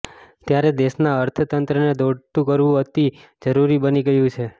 ત્યારે દેશના અર્થતંત્રને દોડતું કરવું અતિ જરૂરી બની ગયું છે